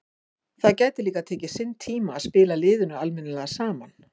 Það gæti tekið sinn tíma að spila liðinu almennilega saman.